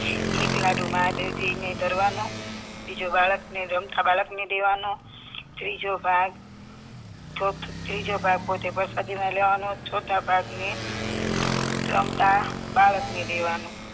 એક લાડુ મહાદેવજી ને ધરવાનો બીજો બાળકને રમતા બાળકને દેવાનો ત્રીજો ભાગ ચોથો ત્રીજો ભાગ પોતે પ્રસાદીમાં લેવાનો ચોથો ભાગ ને રમતા બાળકને દેવાનો